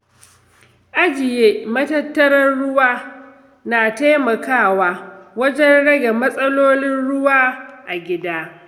Ajiye matattarar ruwa na taimakawa wajen rage matsalolin ruwa a gida.